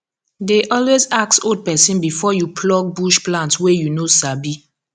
dey always ask old person before you pluck bush plant wey you no sabi